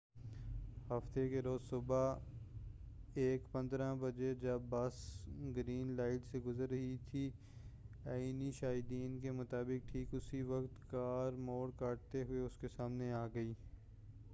ہفتہ کے روز صبح 1:15 بجے جب بس گرین لائٹ سے گزر رہی تھی عینی شاہدین کے مطابق ٹھیک اسی وقت کار موڑ کاٹتے ہوئے اس کے سامنے آ گئی